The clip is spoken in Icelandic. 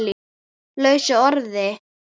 lausu orði